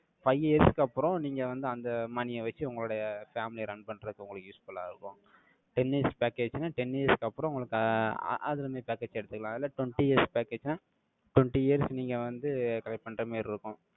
five years க்கு அப்புறம் நீங்க வந்து அந்த money ய வச்சு உங்களுடைய family ய run பண்றதுக்கு உங்களுக்கு useful ஆ இருக்கும். Ten years package ன்னா ten years க்கு அப்புறம் உங்களுக்கு ஆஹ் அ~ அதுல இருந்து package எடுத்துக்கலாம். இல்ல twenty years package ன்னா, twenty years நீங்க வந்து, collect பண்ற மாதிரி இருக்கும்.